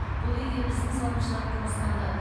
бұл үйге біздің салымшылар қоныстанды